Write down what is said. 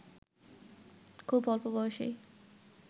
খুব অল্প বয়সেই